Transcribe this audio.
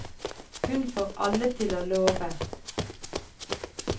Hun får alle til å love.